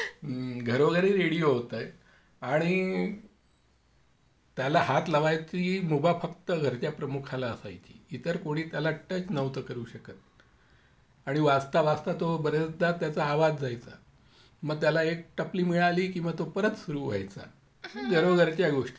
Laughघरोघरी radio होता आणि त्याला हात लावायचे मुभा फक्त घरच्या प्रमुखाला असायची इतर कोणी त्याला टच करत नव्हता वाजता वाजता तो बरेचदा त्याचा आवाज जायचा मग त्याला एक टपली मिळाली की तो परत सुरू व्हायचा घरोघरच्या गोष्टी